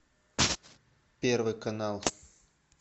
первый канал